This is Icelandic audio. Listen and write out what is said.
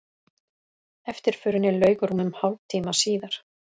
Eftirförinni lauk rúmum hálftíma síðar